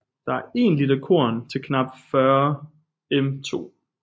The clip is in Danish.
Det er én liter korn til knap 40 m²